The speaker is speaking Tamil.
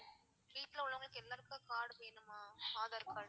வீட்ல உள்ளவங்க எல்லார்க்குமே card வேணுமா ஆதார் card?